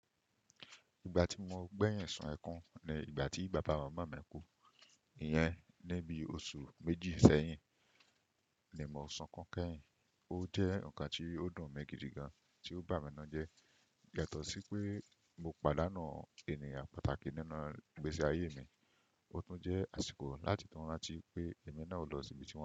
Ìgbà tí mo gbẹ̀yìn sún ẹkún ni ìgbà tí bàbá mọnmọn mi kú, ìyẹn ní bí oṣù méjì sẹ́yìn ni mo sun kun kẹ́yìn. Ó jẹ́ o kan tí ó dùn mi gidi gan tí ó bà mí nu jẹ́, yatọ̀ sí pé mo pa dáànú ènìyàn pàtàkì nínú ìgbésí ayé mi, ó tún jẹ́ àsìkò láti tanra tí pé èmi náà o lọ síbi tí wọn.